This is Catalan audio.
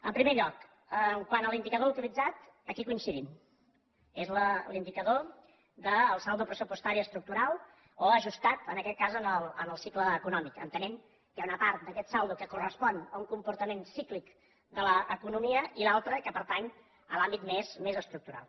en primer lloc quant a l’indicador utilitzat aquí coincidim és l’indicador del saldo pressupostari estructural o ajustat en aquest cas en el cicle econòmic entenent que hi ha una part d’aquest saldo que correspon a un comportament cíclic de l’economia i l’altra que pertany a l’àmbit més estructural